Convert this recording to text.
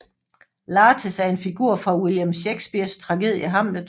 Laertes er en figur fra William Shakespeares tragedie Hamlet